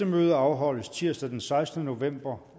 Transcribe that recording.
møde afholdes tirsdag den sekstende november